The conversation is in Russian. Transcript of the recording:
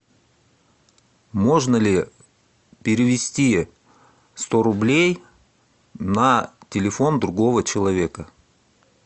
можно ли перевести сто рублей на телефон другого человека